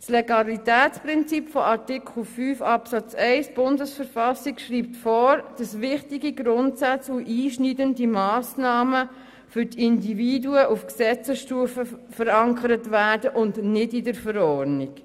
Das Legalitätsprinzip gemäss Artikel 5, Absatz 1 der Bundesverfassung schreibt vor, dass wichtige Grundsätze und einschneidende Massnahmen für die Individuen auf Gesetzesstufe verankert werden und nicht in der Verordnung.